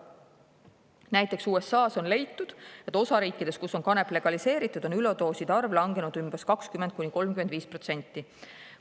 Näiteks USAs on leitud, et osariikides, kus on kanep legaliseeritud, on üledooside arv langenud umbes 20–35%.